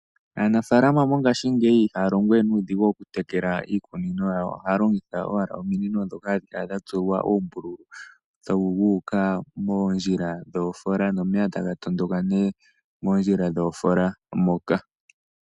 Aanafaalama mongaashingeyi ihaya longowe nuudhigu okutekala iikunino yawo, ohaya longitha owala ominino ndhoka hadhikala dhatsuwa uumbululu wuuka moondjila dhoofoola nomeya taga tondoka nee moondjila dhoofoola moka.